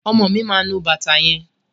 Ọmọ mi máa nu bàtà yẹn.